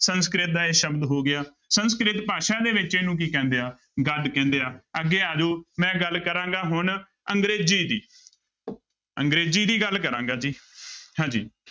ਸੰਸਕ੍ਰਿਤ ਦਾ ਇਹ ਸ਼ਬਦ ਹੋ ਗਿਆ ਸੰਸਕ੍ਰਿਤ ਭਾਸ਼ਾ ਦੇ ਵਿੱਚ ਇਹਨੂੰ ਕੀ ਕਹਿੰਦੇ ਆ, ਗਦ ਕਹਿੰਦੇ ਆ ਅੱਗੇ ਆ ਜਾਓ ਮੈਂ ਗੱਲ ਕਰਾਂਗਾ ਹੁਣ ਅੰਗਰੇਜ਼ੀ ਦੀ ਅੰਗਰੇਜ਼ੀ ਦੀ ਗੱਲ ਕਰਾਂਗਾ ਜੀ ਹਾਂਜੀ।